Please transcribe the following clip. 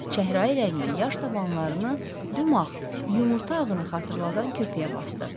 Çəhrayı rəngli yaş tabanlarını dümağ, yumurta ağını xatırladan köpüyə basdı.